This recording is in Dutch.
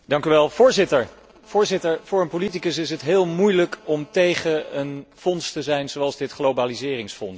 Voorzitter, voor een politicus is het heel moeilijk om tegen een fonds te zijn zoals dit globaliseringsfonds.